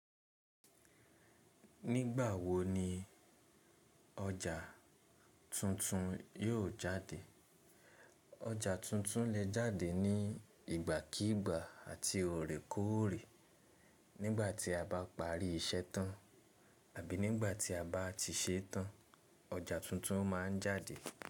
Nígbà wo ni ọjà tuntun yóò jáde? Ọjà tuntun lè jáde ní ìgbàkígbà àti ọ̀rẹ́kọ̀ọ̀rè. Nígbà tí a bá parí iṣẹ́ tán àbí nígbà tí a bá tii se tán, ọjà tuntun má a ń jáde.